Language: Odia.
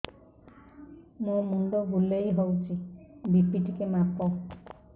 ମୋ ମୁଣ୍ଡ ବୁଲେଇ ହଉଚି ବି.ପି ଟିକେ ମାପ